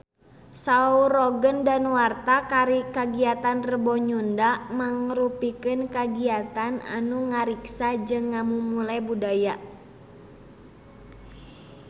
Saur Roger Danuarta kagiatan Rebo Nyunda mangrupikeun kagiatan anu ngariksa jeung ngamumule budaya Sunda